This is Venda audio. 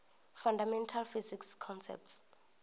fundamental physics concepts